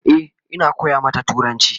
E,Ina koya mata turanci